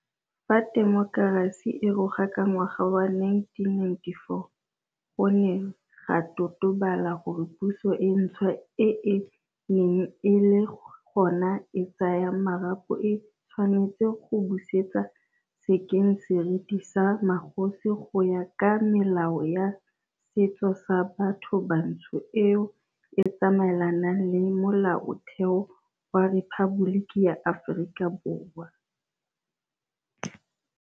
Fa temokerasi e roga ka ngwaga wa 1994, go ne ga totobala gore puso e ntšhwa e e neng e le gona e tsaya marapo e tshwanetse go busetse sekeng seriti sa magosi go ya ka melao ya setso sa batho bantsho eo e tsamaelanang le Molaotheo wa Rephaboliki ya Aforika Borwa.